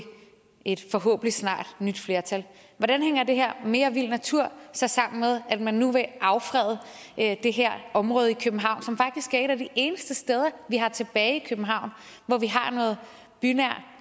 et forhåbentlig snarligt nyt flertal hvordan hænger det her mere vild natur så sammen med at man nu vil affrede det her område i københavn som faktisk er et af de eneste steder vi har tilbage i københavn hvor vi har noget bynær